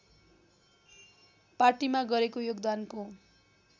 पार्टीमा गरेको योगदानको